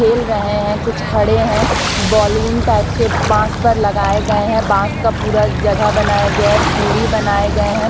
खेल रहे हैं। कुछ खड़े हैं। बैलून टाइप के बांस पर लगाए गए हैं। बांस का पूरा जगह बनाया गया है सीढ़ी बनाए गए हैं।